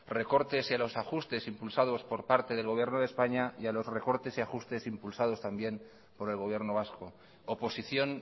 recortes y a los ajustes impulsados por parte del gobierno de españa y a los recortes y ajustes impulsados también por el gobierno vasco oposición